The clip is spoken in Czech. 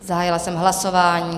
Zahájila jsem hlasování.